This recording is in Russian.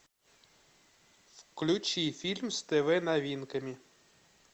включи фильм с тв новинками